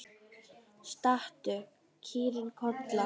Stattu, kýrin Kolla!